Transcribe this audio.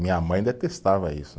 Minha mãe detestava isso.